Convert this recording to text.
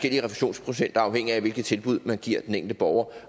er afhængigt af hvilket tilbud man giver den enkelte borger